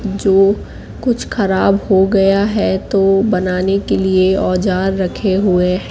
जो कुछ खराब हो गया है तो बनाने के लिए औजार रखे हुए हैं।